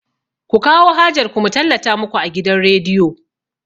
Ku kawo hajar ku mu tallata muku a gidan rediyo!